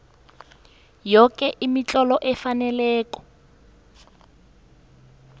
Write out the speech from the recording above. yoke imitlolo efaneleko